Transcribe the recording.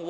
誓。